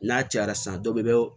N'a cayara san dɔ bɛ